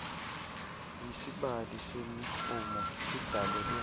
isibali semirhumo sidalelwe